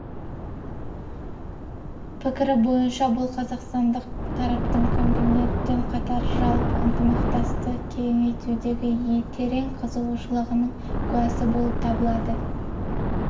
пікірі бойынша бұл қазақстандық тараптың комитетпен қатар жалпы ынтымақтасты кеңейтудегі терең қызығушылығының куәсі болып табылады